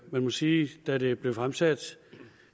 man må sige da det blev fremsat